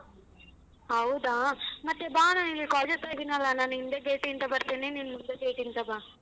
ಹೌದಾ ಮತ್ತೇ ಬಾ ನಾನ್ ಇಲ್ಲಿ college ಹತ್ರ ಇದೀನಲ್ಲ ನಾನ್ ಹಿಂದೆ gate ಇಂದ ಬರ್ತೀನಿ ನೀನ್ ಮುಂದೆ gate ಇಂದ ಬಾ.